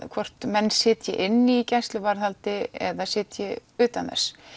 hvort menn sitji inni í gæsluvarðhaldi eða sitji utan þess